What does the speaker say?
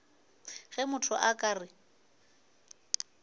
ge motho a ka re